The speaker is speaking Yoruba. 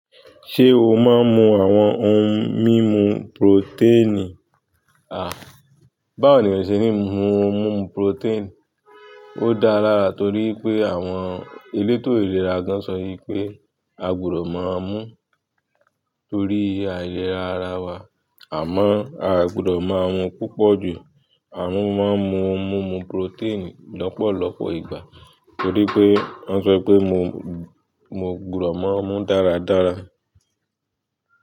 Ṣé o máa ń mu àwọn ohun mímu protein? A, báwo ni eeyan o se ní mu ohun mímu protein? Ó dára lára torí pé àwọn elétò ìlera gan sọ wi pé a gbọdọ̀ máa mú torí ailera ara wa àmọ́ a gbọdọ̀ máa mu púpọ̀ jù. Amo mo máa ń mu ohun mímu protein lọ́pọ̀lọpọ̀ ìgbà torí pé wọ́n sọ pé mo, mo gbọdọ̀ máa mú dáradára.